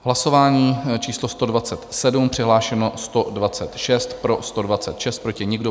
Hlasování číslo 127, přihlášeno 126, pro 126, proti nikdo.